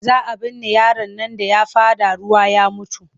Za a binne yaron nan da ya faɗa ruwa ya mutu.